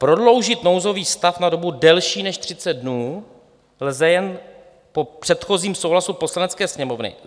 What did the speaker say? Prodloužit nouzový stav na dobu delší než 30 dnů lze jen po předchozím souhlasu Poslanecké sněmovny.